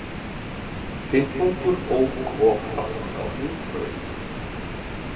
Fimmtungur ók of hratt á Hringbraut